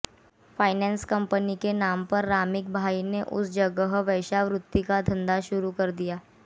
finance company के नाम पर रामिक भाई ने उस जगह वेश्यावृत्ति का धंधा शुरु किया